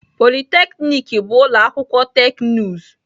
Polytechnic bụ ụlọ akwụkwọ teknụzụ